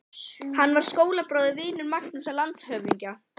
Hann var skólabróðir og vinur Magnúsar landshöfðingja.